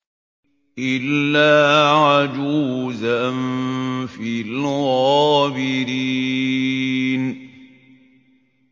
إِلَّا عَجُوزًا فِي الْغَابِرِينَ